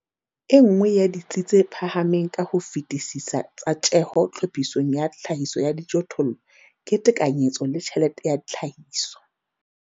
E nngwe ya ditsi tse phahameng ka ho fetisisa tsa tjeho tlhophisong ya tlhahiso ya dijothollo ke tekanyetso le tjhelete ya tlhahiso.